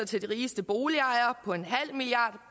til de rigeste boligejere på en halv milliard